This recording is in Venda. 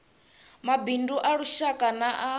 mabindu a lushaka na a